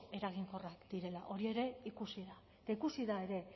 eraginkorra direla hori ere ikusi da eta ikusi da ere